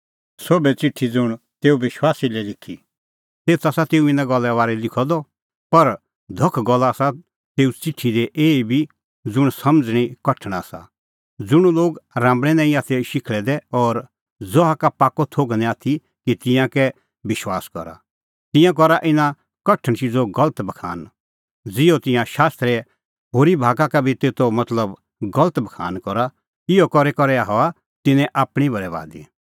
सोभै च़िठी ज़ुंण तेऊ विश्वासी लै लिखी तेथ आसा तेऊ इना गल्ले बारै इहअ ई लिखअ द पर धख गल्ला आसा तेऊए च़िठी दी एही बी ज़ुंण समझ़णीं कठण आसा ज़ुंण लोग राम्बल़ै नांईं आथी शिखल़ै दै और ज़हा का पाक्कअ थोघ निं आथी कि तिंयां कै विश्वास करा तिंयां करा इना कठण च़िज़ो गलत बखान ज़िहअ तिंयां शास्त्रे होरी भागा का बी तेतो मतलब गलत बखान करा इहअ करी करै हआ तिन्नें आपणीं बरैबादी